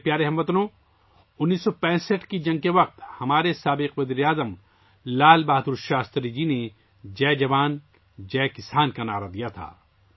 میرے پیارے ہم وطنو، 1965 ء کی جنگ کے دوران ہمارے سابق وزیر اعظم لال بہادر شاستری جی نے جئے جوان، جئے کسان کا نعرہ دیا تھا